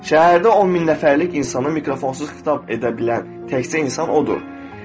Şəhərdə 10 min nəfərlik insanı mikrofonsuz xitab edə bilən təkcə insan odur.